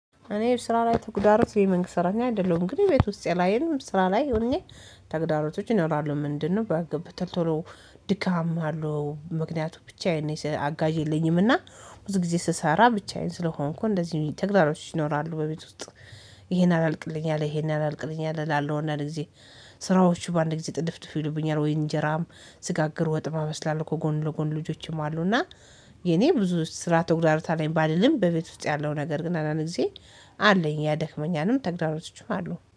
እኔ ስራ ላይ ተግዳሮት የመንግስት ሰራተኛ አይደለሁም ግን ቤት ውስጥ ላይም ስራ ላይ ሆኜ ተግዳሮቶች ይኖራለ። ምንድነው? ባገብተን ባገብተህ ቶሎ ቶሎ ድካም አለው ምክንያቱም ብቻዬን ነኝ አጋዥ የለኝምና ብዙ ጊዜ ስሰራ ብቻዬን ስለሆንኩ እንደዚህ ተግዳሮች ይኖራሉ በቤት ውስጥ። ይሄን አላልቅልኝ አለ ይሄን አላልቅልኝ አላለውና ለዚ። ስራዎቹ በአንድ ጊዜ ጥድፍድፍ ይሉብኛል ወይ እንጀራም? ስጋግሩ ወጥማ እበስላለሁ እኮ ጎን ለጎን ልጆችም አሉ እና። የኔ ብዙ ስራ ተጉዳሮት ላይ ባልልም በቤት ውስጥ ያለው ነገር ግን አንዳንድ ጊዜ አለኝ ያደክመኛልም ተግዳሮቶችም አሉ